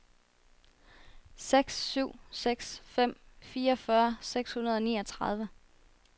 seks syv seks fem fireogfyrre seks hundrede og niogtredive